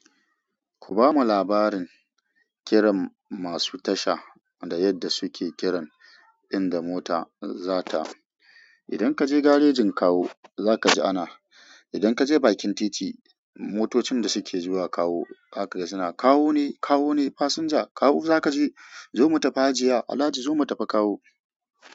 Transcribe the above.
Ku ba mu labarin kiran masu tasha da yadda suke kiran inda mota za ta. Idan ka je garejin Kawo, za ka ji ana, idan ka je bakin titi, motocin da suke zuwa Kawo haka suna kawo ne, kawo ne, fasinja, kawo za ka je, zo mu tafi hajiya, Alhaji zo mu tafi Kawo.